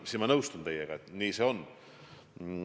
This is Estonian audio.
Ma nõustun teiega, et nii see on.